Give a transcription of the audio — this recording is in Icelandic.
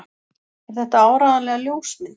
Er þetta áreiðanlega ljósmynd?